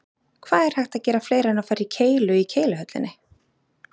Hvað er hægt að gera fleira en fara í keilu í Keiluhöllinni?